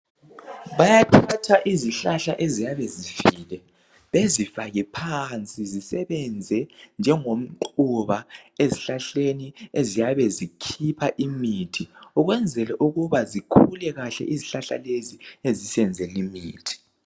Bayathatha izihlahla eziyabe zifile bezifake phansi zisebenze njengomquba izihlahleni eziyabe zikhipha imithi ukwenzela ukuba zikhule kahle izihlahla lezo ezisenzela imithi.